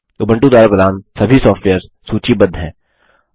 Ubuntu द्वारा प्रदान सभी सॉफ्टवेयर्स सूचीबद्ध हैं